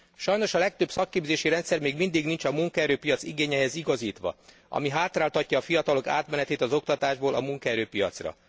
Sajnos a legtöbb szakképzési rendszer még mindig nincs a munkaerőpiac igényeihez igazítva, ami hátráltatja a fiatalok átmenetét az oktatásból a munkaerőpiacra.